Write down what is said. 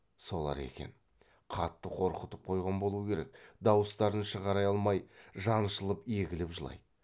солар екен қатты қорқытып қойған болу керек дауыстарын шығара алмай жаншылып егіліп жылайды